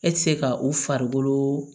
E tɛ se ka u farikolo